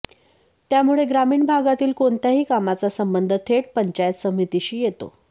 त्यामुळे ग्रामीण भागातील कोणत्याही कामाचा संबंध थेट पंचायत समितीशी येतो